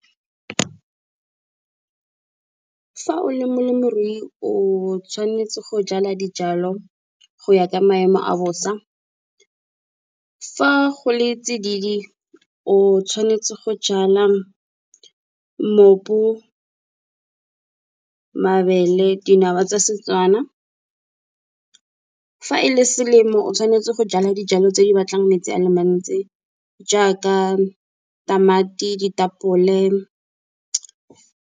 Fa o le molemirui o tshwanetse go jala dijalo go ya ka maemo a bosa. Fa go le tsididi o tshwanetse go jala mopu, mabele dinawa tsa seTswana. Fa e le selemo o tshwanetse go jala dijalo tse di batlang metsi a le mantsi jaaka tamati ditapole.